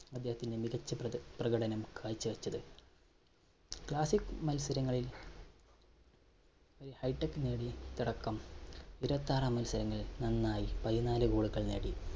അദ്ദേഹത്തിന്റെ മികച്ച പ്ര~പ്രകടനം കാഴ്ചവെച്ചത്. classic മത്സരങ്ങളിൽ high tech നേടി തുടക്കം. ഇരുപത്താറാം നന്നായി പതിനാല് goal കൾ നേടി.